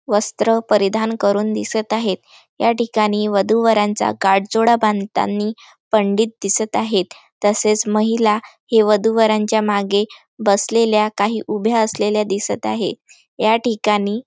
वस्त्र परिधान करून दिसत आहेत या ठिकाणी वधू वरांचा गाठ जोडा बांधतानि पंडित दिसत आहेत तसेच महिला हे वधू वरांच्या मागे बसलेल्या काही उभ्या असलेल्या दिसत आहे या ठिकाणी--